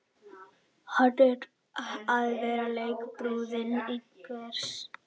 Að vera leikbrúða einhvers